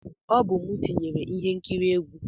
Ọ bụ m tinyere ihe nkiri egwu.